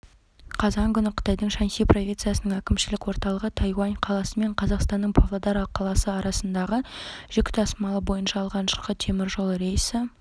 қазан күні қытайдың шаньси провинциясының әкімшілік орталығы тайюань қаласы мен қазақстанның павлодар қаласы арасындағы жүк тасымалы бойынша алғашқы теміржол рейсі іске